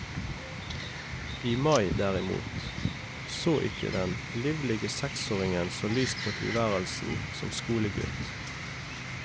I mai, derimot, så ikke den livlige seksåringen så lyst på tilværelsen som skolegutt.